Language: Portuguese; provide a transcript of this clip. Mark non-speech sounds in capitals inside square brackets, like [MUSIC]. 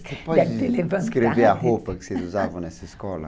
[UNINTELLIGIBLE] Você pode escrever a roupa que vocês usavam nessa escola?